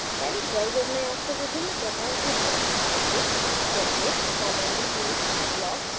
palette browser में आपको विभिन्न प्रकार के ब्लॉक्स मिलेंगे जैसे commonly used blocks